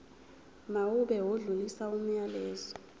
mawube odlulisa umyalezo